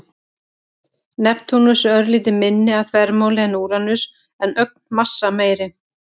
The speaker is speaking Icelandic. Neptúnus er örlítið minni að þvermáli en Úranus en ögn massameiri.